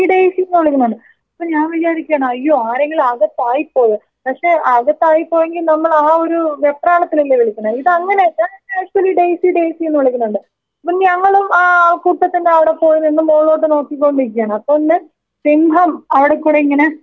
ഇപ്പോ ഞാൻ വിചാരിക്കാണ് അയ്യോ ആരെങ്കിലും അകത്തായി പോയോ പക്ഷേ അകത്തായി പോയെങ്കി നമ്മളാ ഒരു വെപ്രാളത്തിലല്ലേ വിളിക്കുന്നെ ഇതങ്ങനെയല്ല *നോട്ട്‌ ക്ലിയർ* ഡെയ്സി ഡെയ്സീന്ന് വിളിക്കുന്നുണ്ട് അപ്പോൾ ഞങ്ങളും ആ ആൾക്കൂട്ടത്തിന്റവിടെ പോയി നിന്നു മോളോട്ട് നോക്കിക്കൊണ്ടിരിക്കാണ് അപ്പൊ ഇണ്ട് സിംഹം അവിടെക്കൂടെ ഇങ്ങനെ നടന്നു വരുന്നു.